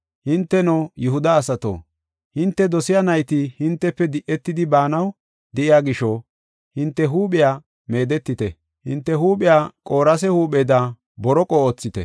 Hinteno, Yihuda asato, hinte dosiya nayti hintefe di7etidi baanaw de7iya gisho, hinte huuphiya meedetite; hinte huuphiya qoorase huupheda borooqo oothite.